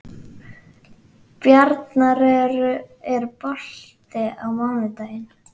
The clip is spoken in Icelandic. Bjarnar, er bolti á mánudaginn?